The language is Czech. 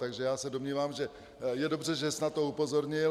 Takže já se domnívám, že je dobře, že jsi na to upozornil.